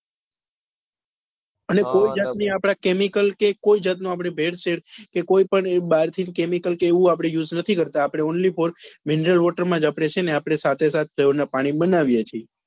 એને કોઈ જાત ને આપડે chemical કે કોઈ જાત નું આપડે ભેળ શેળ કે કોઈ પણ આપડે બાર થી chemical કે એવું કઈ use નથી કરતા only for mineral water માં જ આપડે છે ને સાતે સાત flavour ના પાણી બનાવીએ છીએ.